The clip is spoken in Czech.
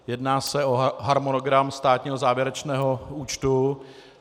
Jedná se o harmonogram státního závěrečného účtu.